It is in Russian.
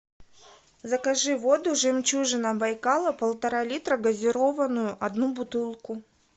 закажи воду жемчужина байкала полтора литра газированную одну бутылку